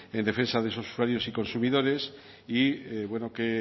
en defensa de esos usuarios y consumidores y bueno qué